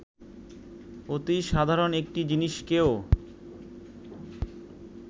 অতি সাধারণ একটি জিনিসকেও